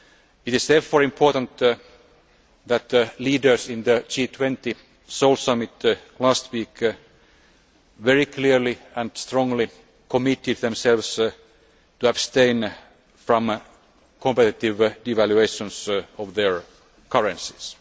It is therefore important that leaders in the G20 Seoul Summit last week very clearly and strongly committed themselves to abstain from competitive devaluations of their currencies.